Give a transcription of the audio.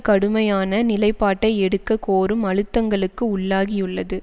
கடுமையான நிலைப்பாட்டை எடுக்க கோரும் அழுத்தங்களுக்கு உள்ளாகியுள்ளது